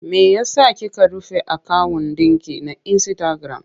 Me ya sa kika rufe akawun ɗinki na insitagiram?